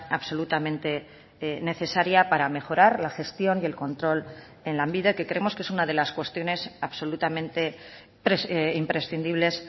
absolutamente necesaria para mejorar la gestión y el control en lanbide que creemos que es una de las cuestiones absolutamente imprescindibles